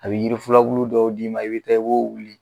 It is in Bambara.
A bɛ yiri flulabulu dɔw d'i ma i bɛ taa i b'o wuli.